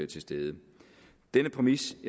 til stede denne præmis